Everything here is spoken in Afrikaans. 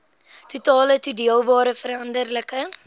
totale toedeelbare veranderlike